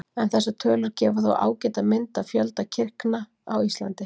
En þessar tölur gefa þó ágæta mynd af fjölda kirkna á Íslandi.